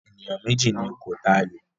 Ẹni méjì ni kó ta àyò!